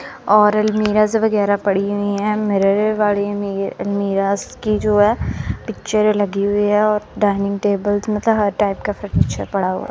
और अलमीराज् वगैरा पड़ी हुई है। मिरर वाडिये मे ये अलमीराज् की जो है पिक्चर लगी हुई है और डायनिंग टेबल मतलब हर टाइप का फर्नीचर पड़ा हुआ है।